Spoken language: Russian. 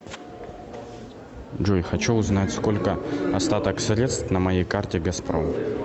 джой хочу узнать сколько остаток средств на моей карте газпром